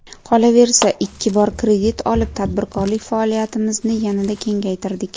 Qolaversa ikki bor kredit olib, tadbirkorlik faoliyatimizni yanada kengaytirdik.